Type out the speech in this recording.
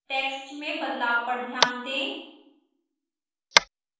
text में बदलाव पर ध्यान दें